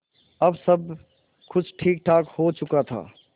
अब सब कुछ ठीकठाक हो चुका था